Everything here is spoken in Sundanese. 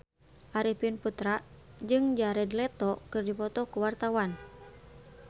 Arifin Putra jeung Jared Leto keur dipoto ku wartawan